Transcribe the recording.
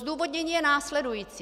Zdůvodnění je následující.